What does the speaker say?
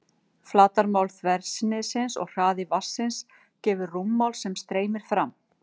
Flatarmál þversniðsins og hraði vatnsins gefur rúmmál sem streymir fram.